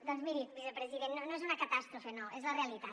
doncs miri vicepresident no és una catàstrofe no és la realitat